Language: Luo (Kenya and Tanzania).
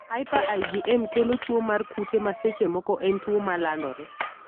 Hyper IgM kelo tuo mar kute ma seche moko en tuo malandore.